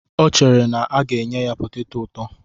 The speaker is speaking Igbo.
O chere na a ga-enye ya poteto ụtọ.